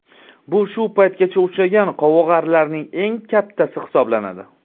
Bu shu paytgacha uchragan qovog‘arilarning eng kattasi hisoblanadi.